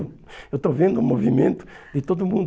Eu estou vendo o movimento de todo mundo.